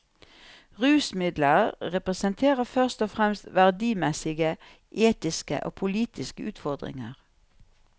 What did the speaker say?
Rusmidler representerer først og fremst verdimessige, etiske og politiske utfordringer.